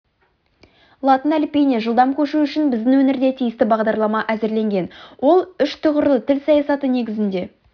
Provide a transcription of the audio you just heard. латын әліпбиіне жылдам көшу үшін біздің өңірде тиісті бағдарлама әзірленген ол үш тұғырлы тіл саясаты негізінде